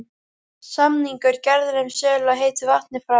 Samningur gerður um sölu á heitu vatni frá